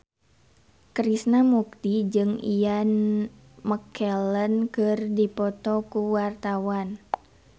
Krishna Mukti jeung Ian McKellen keur dipoto ku wartawan